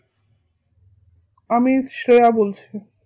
আমি শ্রেয়া বলছি